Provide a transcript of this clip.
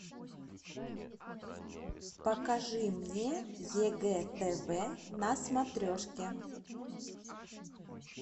покажи мне егэ тв на смотрешке